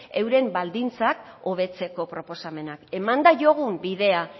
euren baldintzak hobetzeko proposamenak eman diogun bidea